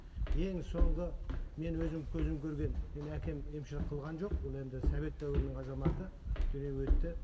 ең соңғы мен өзім көзім көрген менің әкем емшілік қылған жоқ ол енді совет дәуірінің азаматы дүниеден өтті